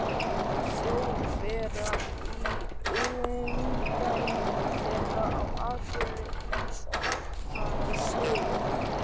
Þjóðverja í umdæmum þeirra, og á Akureyri heimsótti hann Sigurð